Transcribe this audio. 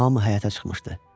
Hamı həyətə çıxmışdı.